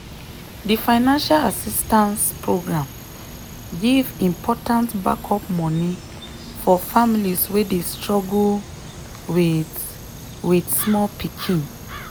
she warn her friends about di online investment scheme wey nearly scatter her money life.